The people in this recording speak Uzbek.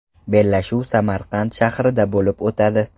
Bellashuv Samarqand shahrida bo‘lib o‘tadi.